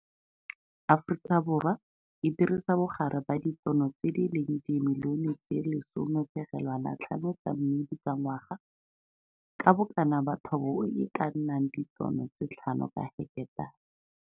Aforikaborwa e dirisa bogare ba ditono tse di leng dimilione tse 10,5 tsa mmidi ka ngwaga, ka bokana ba thobo e e ka nnang ditono tse 5 ka heketara.